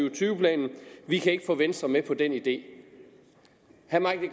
og tyve planen vi kan ikke få venstre med på den idé herre